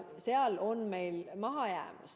Seal on meil mahajäämus.